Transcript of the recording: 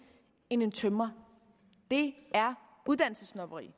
end en tømrer det er uddannelsessnobberi